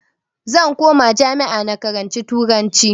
Zan koma jami'a na karanci turanci